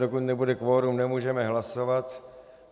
Dokud nebude kvorum, nemůžeme hlasovat.